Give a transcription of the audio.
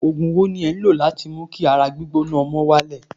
Ògùn wo ni ẹ̀ ń lò láti mú kí ara gbígbóná ọmọ náà wálẹ̀?